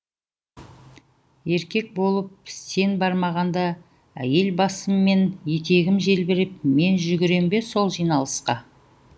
еркек болып сен бармағанда әйел басыммен етегім желбіреп мен жүгірем бе сол жиналысқа